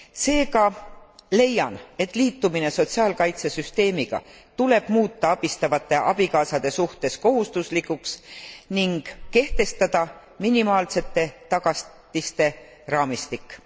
Seega leian, et liitumine sotsiaalkaitsesüsteemiga tuleb muuta abistavate abikaasade suhtes kohustuslikuks ning kehtestada minimaalsete tagatiste raamistik.